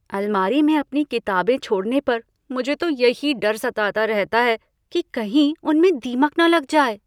अलमारी में अपनी किताबें छोड़ने पर तो मुझे यही डर सताता रहता है कि कहीं उनमें दीमक न लग जाएँ।